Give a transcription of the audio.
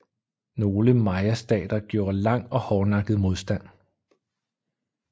Nogle mayastater gjorde lang og hårdnakket modstand